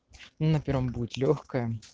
на первом будет лёгкое